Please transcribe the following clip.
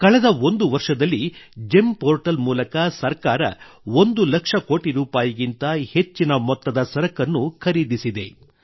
ಕಳೆದ ಒಂದು ವರ್ಷದಲ್ಲಿ ಜೆಮ್ ಪೋರ್ಟಲ್ ಮೂಲಕ ಸರ್ಕಾರ 1 ಲಕ್ಷ ಕೋಟಿ ರೂಪಾಯಿಗಿಂತ ಹೆಚ್ಚಿನ ಮೊತ್ತದ ಸರಕನ್ನು ಖರೀದಿಸಿದೆ